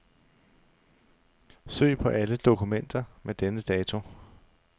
Søg på alle dokumenter med denne dato.